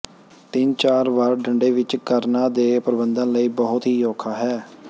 ਤਿੰਨ ਚਾਰ ਵਾਰ ਡੰਡੇ ਵਿਚ ਕਰਣਾ ਦੇ ਪਰਬੰਧਨ ਲਈ ਬਹੁਤ ਹੀ ਔਖਾ ਹੈ